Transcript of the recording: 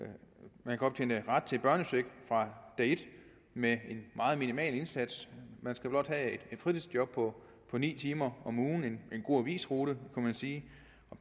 man kan optjene ret til børnecheck fra dag et med en meget minimal indsats man skal blot have et fritidsjob på ni timer om ugen for en god avisrute kunne man sige